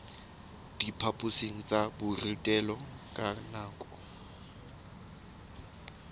diphaphosing tsa borutelo ka nako